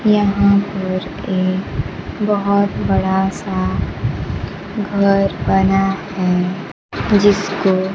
यहां पर एक बहुत बड़ा सा घर बना है जिस को--